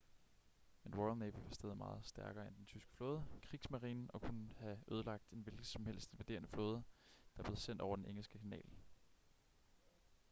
men royal navy var stadig meget stærkere end den tyske flåde kriegsmarine” og kunne have ødelagt en hvilken som helst invaderende flåde der blev sendt over den engelske kanal